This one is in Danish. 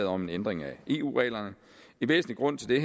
om en ændring af eu reglerne en væsentlig grund til